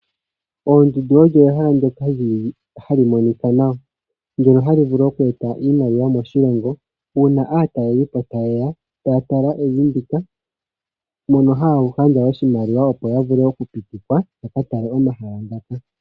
Oondundu ehala hali monika nawa, ndjoka hali vulu okweeta oshimaliwa moshilongo. Uuna aatalelipo taye ya, ohaya tala evi ndika, ohaya gandja oshimaliwa opo ya vule okupitikwa yaka tale omahala ngaka.